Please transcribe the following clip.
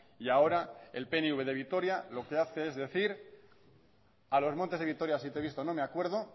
y ahora el pnv de vitoria lo que hace es decir a los montes de vitoria si te he visto no me acuerdo